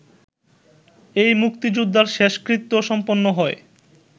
এই মুক্তিযোদ্ধার শেষকৃত্য সম্পন্ন হয়